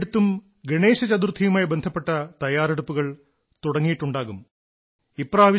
പലയിടത്തും ഗണേശചതുർഥിയുമായി ബന്ധപ്പെട്ട തയ്യാറെടുപ്പുകൾ തുടങ്ങിയിട്ടുണ്ടാകുമെന്നപോലെ